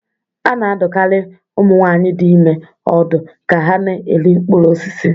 Ana-adụkarị ụmụ nwaanyị dị ime ọdụ ka ha na-eri mkpụrụ osisi.